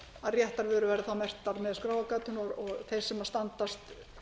réttar vörur væru þá merktar með skráargatinu og þeir sem standast